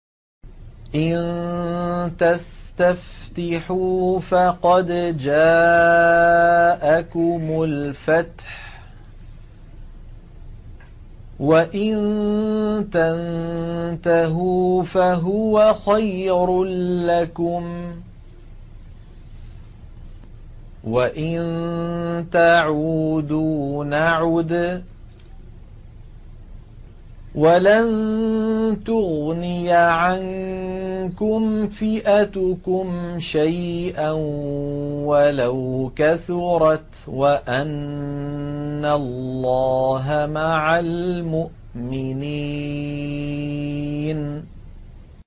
إِن تَسْتَفْتِحُوا فَقَدْ جَاءَكُمُ الْفَتْحُ ۖ وَإِن تَنتَهُوا فَهُوَ خَيْرٌ لَّكُمْ ۖ وَإِن تَعُودُوا نَعُدْ وَلَن تُغْنِيَ عَنكُمْ فِئَتُكُمْ شَيْئًا وَلَوْ كَثُرَتْ وَأَنَّ اللَّهَ مَعَ الْمُؤْمِنِينَ